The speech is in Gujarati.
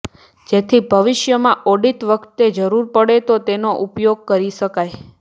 જેથી ભવિષ્યમાં ઓડિટ વખતે જરૂર પડે તો તેનો ઉપયોગ કરી શકાય